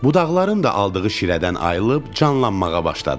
Budaqların da aldığı şirədən ayrılıb canlanmağa başladı.